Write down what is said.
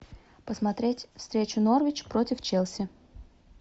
посмотреть встречу норвич против челси